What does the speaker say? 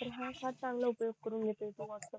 तर हा चांगला उपयोग करून घेतोय